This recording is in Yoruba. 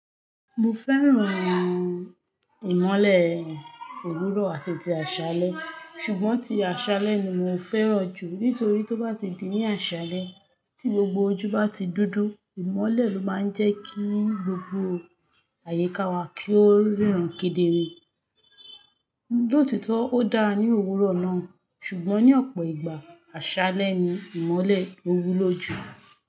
Mo fẹ́ran ìmọ́lẹ̀ òwúrọ̀ àti ti àṣálẹ́, ṣùgbọ́n ti àṣálẹ́ ni mo fẹ́ràn jù nítorí tó bá ti di ní àṣálẹ́ tí gbogbo ojú bá ti dúdú, ìmọ́lẹ̀ ló máa ń jẹ́ kí gbogbo àyíká wa kí ó ríran kedere. Lootitọ odara ni owurọ naa, ṣugbọn ni ọpọ igba aṣalẹ ni imọlẹ lo wulo ju.